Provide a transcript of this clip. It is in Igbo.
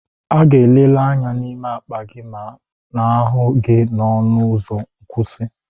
A ga-eleriri anya n'ime akpa gị ma n'ahụ gị n'ọnụ ụzọ nkwụsị.